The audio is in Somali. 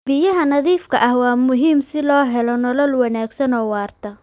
Biyaha nadiifka ah waa muhiim si loo helo nolol wanaagsan oo waarta.